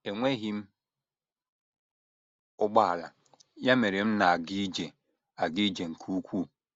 Enweghị m ụgbọala, ya mere m na - aga ije aga ije nke ukwuu.